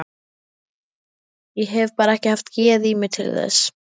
Ég hef bara ekki haft geð í mér til þess.